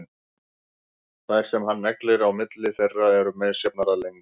Þær sem hann neglir á milli þeirra eru misjafnar að lengd.